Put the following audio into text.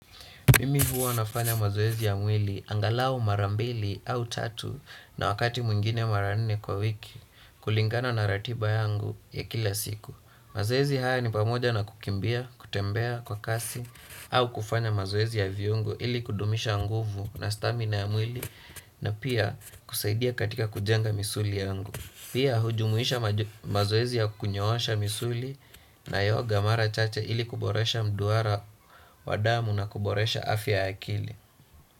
Mimi huw nafanya mazoezi ya mwili angalau mara mbili au tatu na wakati mwingine mara nne kwa wiki kulingana na ratiba yangu ya kila siku. Mazoezi haya ni pamoja na kukimbia, kutembea kwa kasi au kufanya mazoezi ya viungo ili kudumisha nguvu na stamina ya mwili na pia kusaidia katika kujenga misuli yangu. Pia hujumuisha mazoezi ya kunyoosha misuli na yoga mara chache ili kuboresha mduara wa damu na kuboresha afya ya akili.